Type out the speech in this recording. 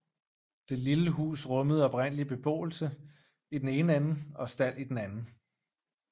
Det lille hus rummede oprindeligt beboelse i den ene ende og stald i den anden